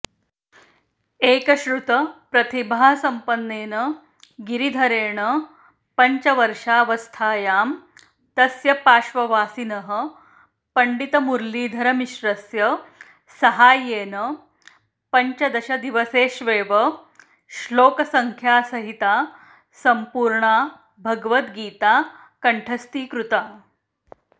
एकश्रुतप्रतिभासम्पन्नेन गिरिधरेण पञ्चवर्षावस्थायां तस्य पार्श्ववासिनः पण्डितमुरलीधरमिश्रस्य साहाय्येन पञ्चदशदिवसेष्वेव श्लोकसङ्ख्यासहिता सम्पूर्णा भगवद्गीता कण्ठस्थीकृता